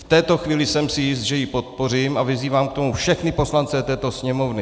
V této chvíli jsem si jist, že ji podpořím, a vyzývám k tomu všechny poslance této Sněmovny.